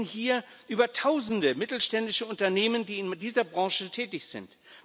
Wir reden hier über Tausende mittelständische Unternehmen, die in dieser Branche tätig sind.